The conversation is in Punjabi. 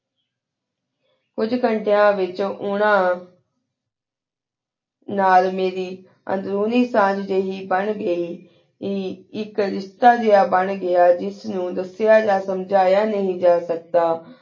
ਕੁਛ ਘੰਟਾਯਨ ਵੇਚੁਨ ਉਨਾ ਨਾਲ ਮੇਰੀ ਉਨ੍ਦੇਰੀ ਸਨਜੀ ਬਣ ਘੀ ਏਕ ਰ੍ਸ਼੍ਤਾ ਜੇਹਾ ਬੇਨ ਘੇਯਾ ਜੇਸ ਨੂ ਦਸਿਆ ਯਾ ਸੁਮ੍ਜੇਯਾ ਨੀ ਜਾ ਸ੍ਕ਼ਦਾ